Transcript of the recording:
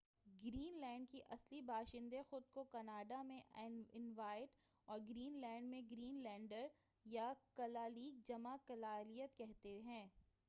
Green land کے اصلی باشندے خود کو کناڈا میں انویٹ اور گرین لینڈ میں گرین لینڈر یا کلا لیق جمع کلا لیت کہتے ہیں۔